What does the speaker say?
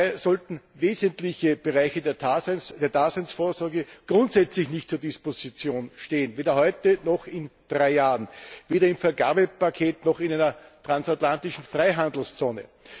Dabei sollten wesentliche Bereiche der Daseinsvorsorge grundsätzlich nicht zur Disposition stehen, weder heute noch in drei Jahren, weder im Vergabepaket noch in einer transatlantischen Freihandelszone.